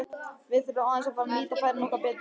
Við þurfum aðeins að fara að nýta færin okkar betur.